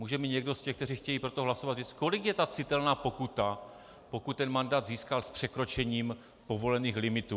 Může mi někdo z těch, kteří chtějí pro to hlasovat, říct, kolik je ta citelná pokuta, pokud ten mandát získal s překročením povolených limitů?